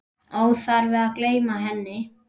Óþarfi að gleyma henni!